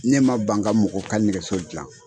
Ne ma ban ka mɔgɔ ka nɛgɛso dilan.